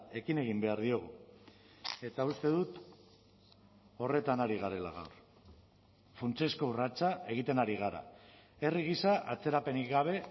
ekin egin behar diogu eta uste dut horretan ari garela gaur funtsezko urratsa egiten ari gara herri gisa atzerapenik gabe